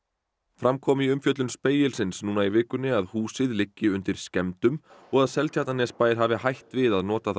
fram kom í umfjöllun Spegilsins núna í vikunni að húsið liggi undir skemmdum og að Seltjarnarnesbær hafi hætt við að nota það